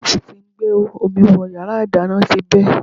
Páìpù tí ń gbé omi wọ yàrá ìdáná ti bẹ́.